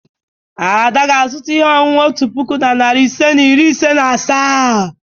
Ada ga-azụta ihe ọṅụṅụ otu puku na narị ise na iri ise na asaa.